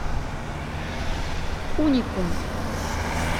уникум